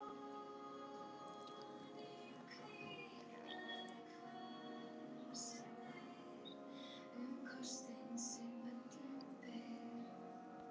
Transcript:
Strákarnir fyrirgáfu honum en fæstir vildu hafa hann í liði sínu.